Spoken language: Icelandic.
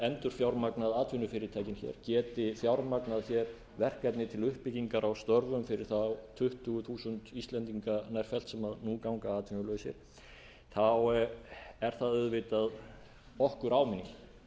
endurfjármagnað atvinnufyrirtækin hér geti fjármagnað hér verkefni til uppbyggingar á störfum fyrir þá tuttugu þúsund íslendinga nærfellt sem nú ganga atvinnulausir þá er það auðvitað okkur áminning